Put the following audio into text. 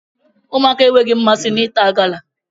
Ụmụaka enweghị mmasị na ịta gala